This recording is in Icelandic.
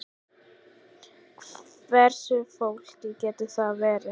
Hversu flókið getur það verið?